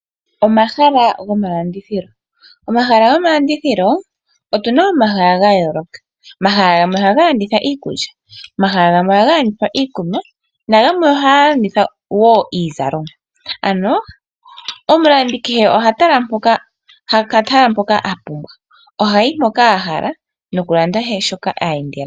Omahala gomalandithilo Otu na omahala ga yooloka. Omahala gamwe ohaga landitha iikulya, gamwe ohaga landitha iikunwa nagamwe ohaga landitha wo iizalomwa. Omulandi kehe oha tala mpoka a pumbwa, ohayi mpoka a hala nokulanda she shoka e endela.